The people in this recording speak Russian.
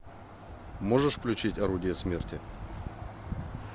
можешь включить орудие смерти